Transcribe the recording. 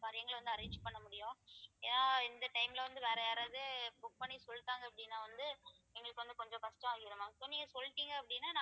காரியங்களை வந்து arrange பண்ண முடியும் ஏன்னா இந்த time ல வந்து வேற யாராவது book பண்ணி சொல்லிட்டாங்க அப்படின்னா வந்து எங்களுக்கு வந்து கொஞ்சம் கஷ்டம் ஆயிடும் ma'am so நீங்க சொல்லிட்டிங்க அப்படின்னா